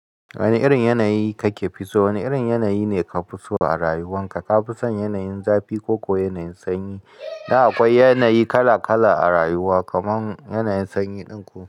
Wane irin yanayi kake fi so? Wane irin yanayi ne ka fi so a rayuwan ka? Ka fi son yanayin zafi ko kuwa yanayin sanyi? Da akwai yanayi kala-kala a rayuwa, kamar yanayin sanyi din ku.